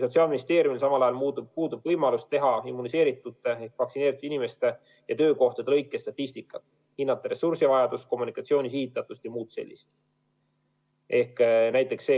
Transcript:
Sotsiaalministeeriumil samal ajal puudub võimalus teha immuniseeritute ehk vaktsineeritud inimeste ja töökohtade lõikes statistikat, hinnata ressursivajadust ja kommunikatsiooni sihitatust jms.